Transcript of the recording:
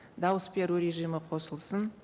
дауыс беру режимі қосылсын